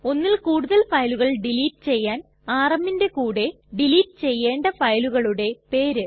ഒന്നിൽ കൂടുതൽ ഫയലുകൾ ഡിലീറ്റ് ചെയ്യാൻ rmന്റെ കൂടെ ഡിലീറ്റ് ചെയ്യണ്ട ഫയലുകളുടെ പേര്